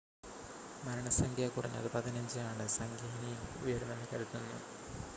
മരണസംഖ്യ കുറഞ്ഞത് 15 ആണ് സംഖ്യ ഇനിയും ഉയരുമെന്ന് കരുതുന്നു